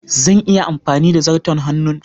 Zan iya amfani da zarto hannun